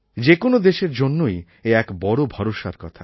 যে কোনও দেশের জন্যই এ এক বড় ভরসার কথা